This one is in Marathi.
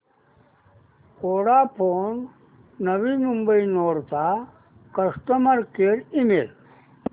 वोडाफोन नवी मुंबई नोड चा कस्टमर केअर ईमेल